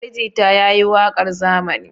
Ali Jita ya yi waƙar zamani.